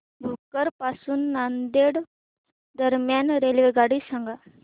भोकर पासून नांदेड दरम्यान रेल्वेगाडी सांगा